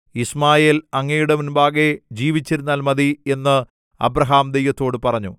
യിശ്മായേൽ അങ്ങയുടെ മുമ്പാകെ ജീവിച്ചിരുന്നാൽ മതി എന്ന് അബ്രാഹാം ദൈവത്തോട് പറഞ്ഞു